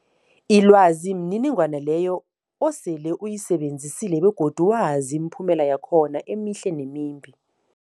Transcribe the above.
Ilwazi mniningwana leyo osele uyisebenzisile begodu wazi imiphumela yakhona emihle nemimbi.